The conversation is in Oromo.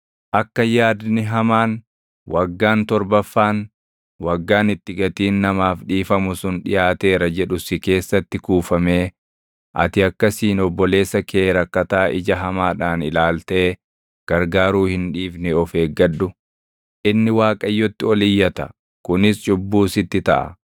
Akka yaadni hamaan, “Waggaan torbaffaan, waggaan itti gatiin namaaf dhiifamu sun dhiʼaateera” jedhu si keessatti kuufamee ati akkasiin obboleessa kee rakkataa ija hamaadhaan ilaaltee gargaaruu hin dhiifne of eeggadhu. Inni Waaqayyotti ol iyyata; kunis cubbuu sitti taʼa.